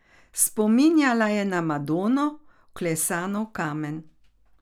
Spominjala je na Madono, vklesano v kamen.